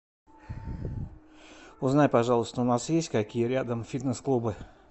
узнай пожалуйста у нас есть какие рядом фитнес клубы